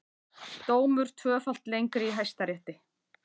Dómur tvöfalt lengri í Hæstarétti